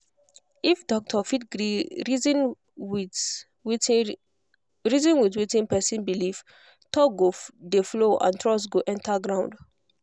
if doctor fit gree reason with wetin reason with wetin person believe talk go dey flow and trust go enter ground.